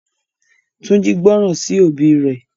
Tunji gbóròn sí òbí ré.